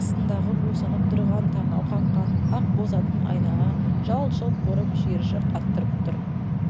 астындағы бусанып тұрған танау қаққан ақ боз атын айнала жалт-жұлт бұрып шиыршық аттырып тұр